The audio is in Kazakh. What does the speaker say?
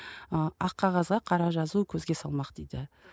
ы ақ қағазға қара жазу көзге салмақ дейді